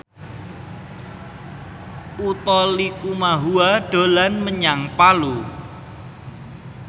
Utha Likumahua dolan menyang Palu